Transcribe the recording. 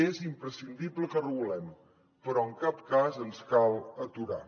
és imprescindible que regulem però en cap cas ens cal aturar